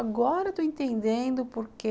Agora estou entendendo porque